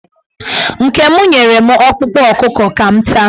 Nke m nyere m ọkpụkpụ ọkụkọ ka m taa.